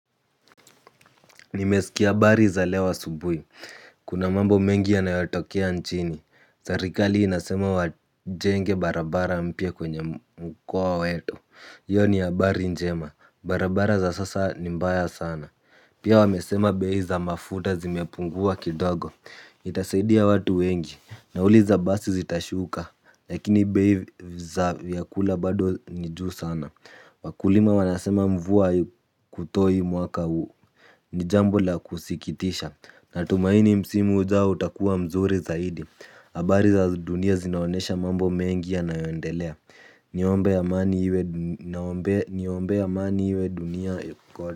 Nimesikia habari za leo asubuhi. Kuna mambo mengi ya nayotokea nchini. Serikali inasema wajenge barabara mpya kwenye mkoa wetu. Hiyo ni ya habari njema. Barabara za sasa ni mbaya sana. Pia wamesema bei za mafuta zimepungua kidogo. Itasaidia watu wengi. Nauli za basi zitashuka. Lakini bei za vyakula bado ni juu sana. Wakulima wanasema mvua kutoi mwaka huu. Ni jambo la kusikitisha. Natumaini msimu zao utakuwa mzuri zaidi habari za dunia zinaonesha mambo mengi ya nayondelea. Niombee amani iwe dunia.